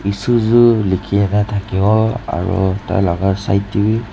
suzu likhina thakibo aru tah laga side teh bhi--